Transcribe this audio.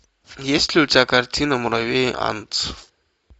есть ли у тебя картина муравей антц